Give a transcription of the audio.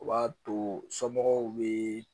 O b'a to somɔgɔw bee